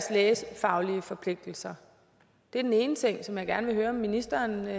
lægefaglige forpligtelser det er den ene ting som jeg gerne vil høre om ministeren hvad